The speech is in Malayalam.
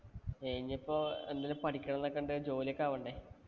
ഇനിപ്പോ എന്തെങ്കിലും പഠിക്കണം എന്നൊക്കെ ഉണ്ട്. ജോലിയൊക്കെ ആവണ്ടേ.